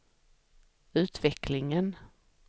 utvecklingen